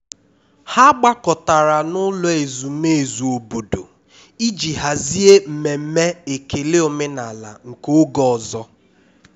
ha gbakọtara n'ụlọ ezumezu obodo iji hazie mmemme ekele omenala nke oge ọzọ